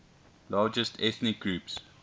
largest ethnic groups